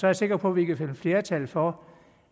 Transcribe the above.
jeg sikker på vi kan finde flertal for